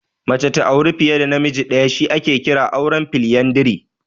Mace ta auri fiye da namiji ɗaya shi ake kira auren Foliyandari.